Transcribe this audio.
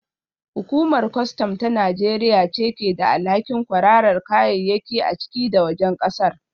Hukumar kwastam ta Najeriya ce ke da alhakin kwararar kayayyaki a ciki da wajen kasar